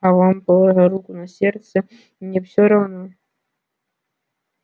а вам положа руку на сердце не все равно